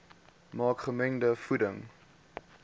maak gemengde voeding